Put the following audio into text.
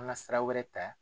An ka sira wɛrɛ ta.